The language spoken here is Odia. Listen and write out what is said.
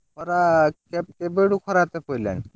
ଖରା, କେବେଠୁ ଖରା ପଇଲାଣି?